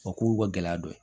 O k'u ka gɛlɛya dɔ ye